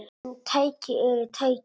En tæki eru tæki.